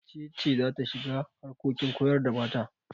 Wace ce za ta shiga harkokin koyar da mata?